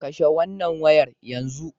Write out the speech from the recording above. Kashe wannan wayar yanzu!